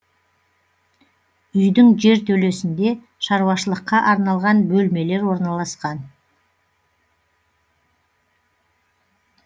үйдің жертөлесінде шаруашылыққа арналған бөлмелер орналасқан